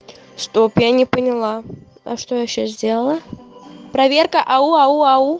стоп я не поняла а что я сейчас сделала проверка ау ау ау